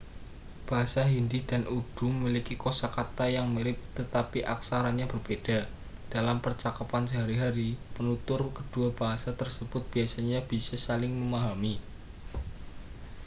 bahasa hindi dan urdu memiliki kosakata yang mirip tetapi aksaranya berbeda dalam percakapan sehari-hari penutur kedua bahasa tersebut biasanya bisa saling memahami